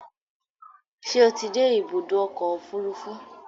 Ṣé o ti dé ibùdó ọkọ̀ òfurufú?